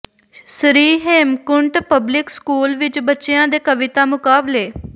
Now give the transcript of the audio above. ਸ੍ਰੀ Hemkunt public school ਵਿੱਚ ਬੱਚਿਆਂ ਦੇ ਕਵਿਤਾ ਮੁਕਾਬਲੇ